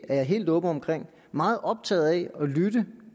er jeg helt åben om meget optaget af at lytte